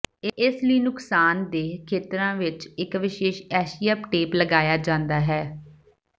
ਇਸ ਲਈ ਨੁਕਸਾਨਦੇਹ ਖੇਤਰਾਂ ਵਿੱਚ ਇੱਕ ਵਿਸ਼ੇਸ਼ ਐਂਸ਼ੀਅਪ ਟੇਪ ਲਗਾਇਆ ਜਾਂਦਾ ਹੈ